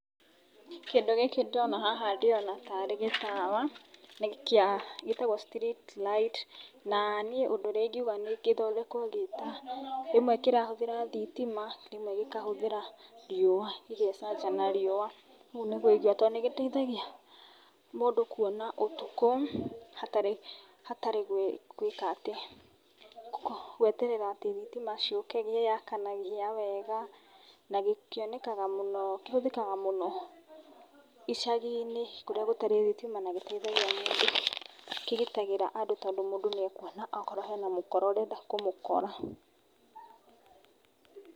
Kĩndũ gĩkĩ ndĩrona haha ndĩrona tarĩ gĩtawa, kĩa gĩtagwo street light na niĩ ũndũ ũrĩa ingiuga gĩkoragwo gĩ ta, rĩmwe kĩrahũthĩra thitima rĩmwe gĩkahũthĩra riũa, gĩgecanja na riũa ũguo nĩguo ingiuga. Tondũ nĩ gĩteithagia, mũndũ kuona ũtukũ, hatarĩ hatarĩ gwĩka atĩ gweterera atĩ thitima ciũke nĩ kĩyakanagia wega. Na kĩhũthĩkaga mũno icagi-inĩ kũrĩa gũtarĩ thitima na gĩteithagia mũndũ, kĩgitagĩra andũ tondũ mũndũ nĩ ekuona akorwo hena mũkora ũrenda kũmũkora.